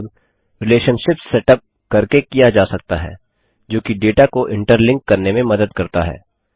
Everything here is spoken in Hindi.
यह सब रिलेशनशिप्स सेट अप करके किया जा सकता है जोकि डेटा को इंटरलिंक करने में मदद करता है